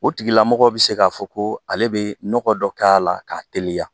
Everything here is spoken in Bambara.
O tigilamɔgɔ bɛ se k'a fɔ ko ale bɛ nɔɔgɔ dɔ k'a la k'a teliya.